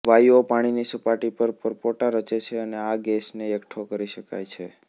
વાયુઓ પાણીની સપાટી પર પરપોટા રચે છે અને આ ગેસને એકઠો કરી શકાય છે